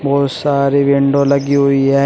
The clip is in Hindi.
बहुत सारी विंडो लगी हुई है।